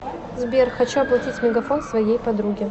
сбер хочу оплатить мегафон своей подруги